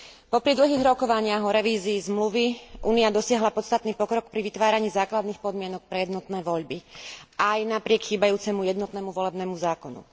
Popri dlhých rokovaniach o revízii zmluvy Únia dosiahla podstatný pokrok pri vytváraní základných podmienok pre jednotné voľby, aj napriek chýbajúcemu jednotnému volebnému zákonu.